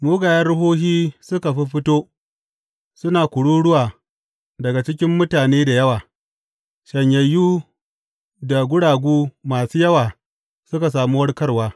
Mugayen ruhohi suka fiffito suna kururuwa daga cikin mutane da yawa, shanyayyu da guragu masu yawa suka sami warkarwa.